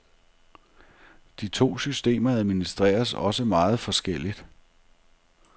De to systemer administreres også meget forskelligt.